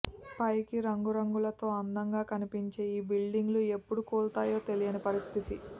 పైకి రంగురంగులతో అందంగా కనిపించే ఈ బిల్డింగులు ఎప్పుడు కూలతాయో తెలియని పరిస్థితి